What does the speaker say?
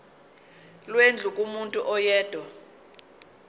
lwendlu kumuntu oyedwa